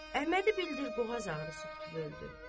Əhmədi bildir boğaz ağrısı tutub öldü.